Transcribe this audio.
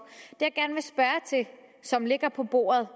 som ligger på bordet